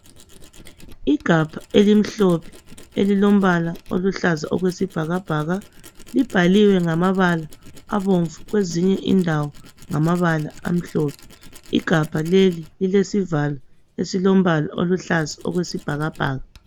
Igabha elimhlophe elilombala oluhlaza okwesibhakabhaka libhaliwe ngamabala abomvu kwezinye indawo ngamabala amhlophe. Igabha leli lilesivalo esilombala oluhlaza okwesibhakabhaka